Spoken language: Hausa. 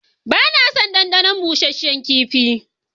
Ba na son ɗanɗanon busasshen kifi.